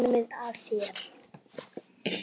Komið að þér.